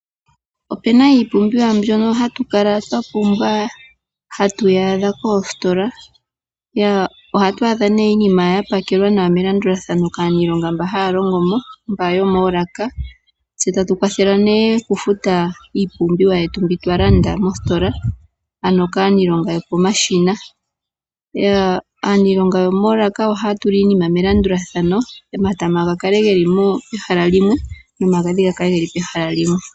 Opu na iipumbiwa mbyono hatu kala twa pumbwa hatu yi adha koositola. Ohatu adha nee iinima ya pakelwa nawa melandulathano kaaniilonga mboka haya longo mo mba yomoolaka tse tatu kwathelwa nee okufuta iipumbiwa yetu mbi twa landa moositola, ano kaaniilonga yopomashina. Aaniilonga yomoolaka ohaa tula iinima melandulathano, omatama ga kale ge li pehala limwe nomagadhi ga kale ge li pehala limwe.